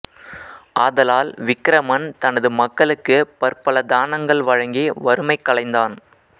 ஆதலால் விக்கிரமன் தனது மக்களுக்கு பற்பல தானங்கள் வழங்கி வறுமை களைந்தான்